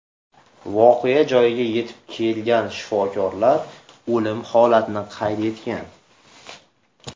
Voqea joyiga yetib kelgan shifokorlar o‘lim holatini qayd etgan.